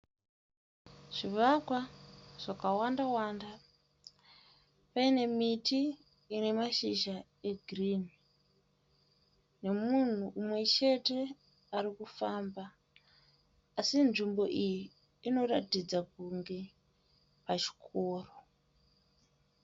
Zvivakwa zvakawanda wanda paine miti ine mashizha egirinhi nemunhu mumwe chete ari kufamba asi nzvimbo iyi inoratidza kuti pachikoro.